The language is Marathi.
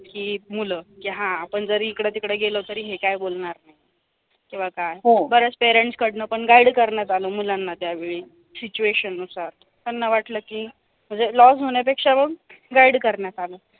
की मुलं हा आपण इकडे-तिकडे गेलो तरी हे काय बोलणार नाही किंवा काय बरचं parents कडनं पण guide करण्यात आलं मुलांना त्यावेळी situation नुसार त्यांना वाटलं की म्हणजे loss होण्यापेक्षा पण guide करण्यात आलं.